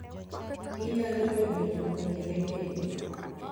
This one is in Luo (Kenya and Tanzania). Kata ginyalo bedo jopunjre bende.